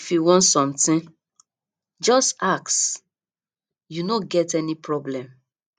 if you want something just ask you no get any problem